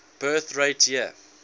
birth rate year